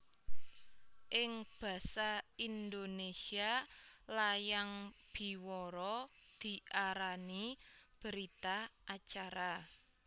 Ing basa Indonésia layang biwara diarani berita acara